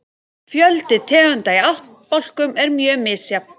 Fjöldi tegunda í ættbálkum er mjög misjafn.